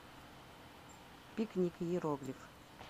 пикник иероглиф